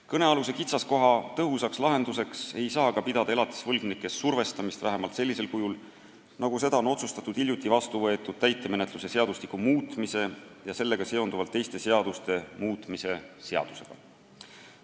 Kõnealuse kitsaskoha tõhusaks lahendusteeks ei saa aga pidada elatisevõlgnike survestamist, vähemalt sellisel kujul, nagu seda on otsustatud hiljuti vastu võetud täitemenetluse seadustiku muutmise ja sellega seonduvalt teiste seaduste muutmise seadusega.